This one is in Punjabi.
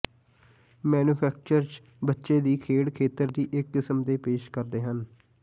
ਮੈਨੂਫੈਕਚਰਜ਼ ਬੱਚੇ ਦੀ ਖੇਡ ਖੇਤਰ ਦੀ ਇੱਕ ਕਿਸਮ ਦੇ ਪੇਸ਼ ਕਰਦੇ ਹਨ